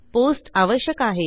post आवश्यक आहे